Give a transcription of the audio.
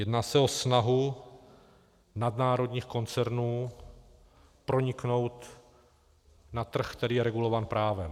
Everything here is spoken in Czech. Jedná se o snahu nadnárodních koncernů proniknout na trh, který je regulován právem.